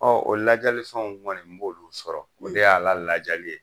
Ɔ o ladiyalifɛnw kɔni i b'olu sɔrɔ , o de y'a ladiyali ye.